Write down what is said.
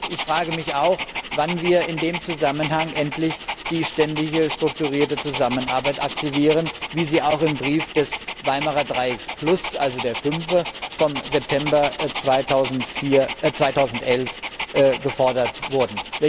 Ich frage mich auch, wann wir in dem Zusammenhang endlich die Ständige Strukturierte Zusammenarbeit aktivieren, wie dies auch im Brief des Weimarer Dreiecks plus, also der fünf, vom September 2011 gefordert wurde.